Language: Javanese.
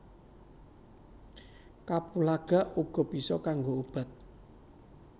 Kapulaga uga bisa kanggo obat